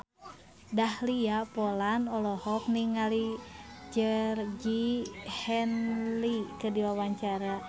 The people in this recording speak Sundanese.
Dahlia Poland olohok ningali Georgie Henley keur diwawancara